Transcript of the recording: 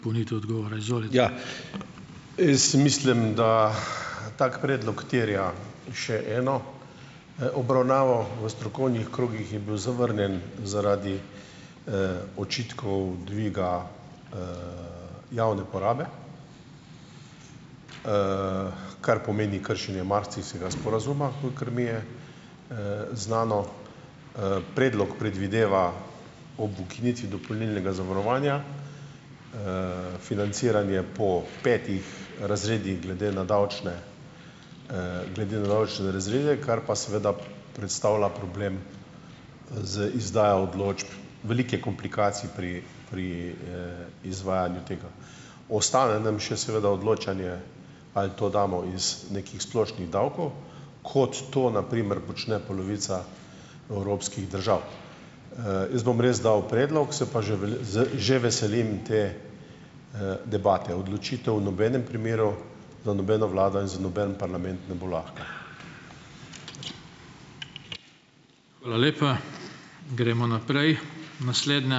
Ja. s mislim, da tako predlog terja še eno, obravnavo. V strokovnih krogih je bil zavrnjen zaradi, očitkov dviga, javne porabe, kar pomeni kršenje Marstiszga sporazuma, kolikor mi je, znano. Predlog predvideva, ob ukinitvi dopolnilnega zavarovanja, financiranje po petih, razredih glede na davčne, glede na davčne razrede, kar pa seveda predstavlja problem, z izdajo odločb. Veliko je komplikacij pri pri, izvajanju tega. Ostane nam še seveda odločanje, ali to damo iz nekih splošnih davkov, kot to na primer počne polovica evropskih držav. Jaz bom res dal predlog, se pa že zdaj že veselim te, debate. Odločitev v nobenem primeru za nobeno vlado in za noben parlament ne bo lahka.